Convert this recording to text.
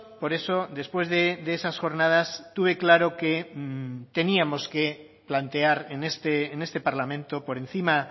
por eso después de esas jornadas tuve claro que teníamos que plantear en este parlamento por encima